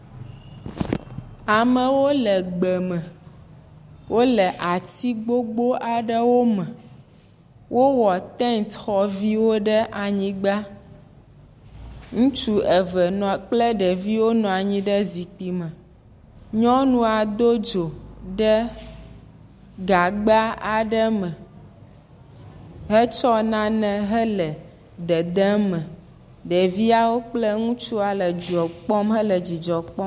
Amewo le gbeme. Wole ati gbogbo aɖewo me. Wowɔ tent xɔ viwo ɖe anyigba. Ŋutsu eve kple ɖeviwo nɔ anyi ɖe zikpui me. Nyɔnua do dzo ɖe gagba aɖe me hetsɔ nena hele dedem eme. Ɖevia kple ŋutsu le dzoa kpɔm hele dzidzɔ kpɔm.